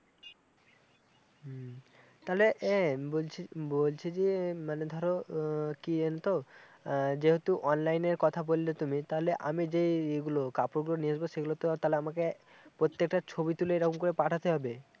তালে এ বলছি বলছি যে মানে ধরো আহ কি জানো তো আহ যেহেতু online এর কথা বললে তুমি তালে আমি যেই এইগুলো কাপড়গুলো নিয়ে আসবো সেইগুলো তো আর তাহলে আমাকে প্রত্যেকটা ছবি তুলে এরকম পাঠাতে হবে